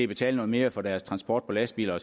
betale noget mere for deres transport på lastbiler